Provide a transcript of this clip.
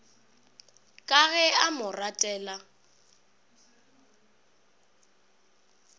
ka ge a mo ratela